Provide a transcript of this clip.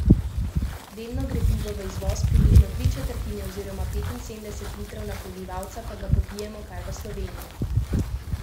Delno gre pivo v izvoz, približno tri četrtine oziroma petinsedemdeset litrov na prebivalca pa ga popijemo kar v Sloveniji.